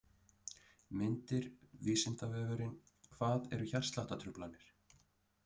Myndir: Vísindavefurinn: Hvað eru hjartsláttartruflanir?.